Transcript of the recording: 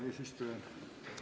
Hea eesistuja!